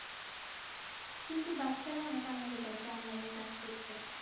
কিন্তু বাচ্চারা অনেক আনন্দ পাইছে Online এ Class করতে